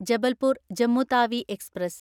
Jabalpur Jammu Tawi express